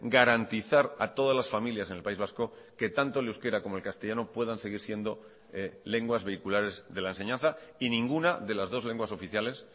garantizar a todas las familias en el país vasco que tanto el euskera como el castellano puedan seguir siendo lenguas vehiculares de la enseñanza y ninguna de las dos lenguas oficiales